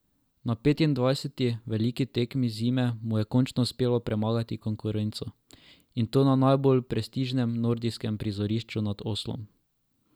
Na petindvajseti veliki tekmi zime mu je končno uspelo premagati konkurenco, in to na najbolj prestižnem nordijskem prizorišču nad Oslom.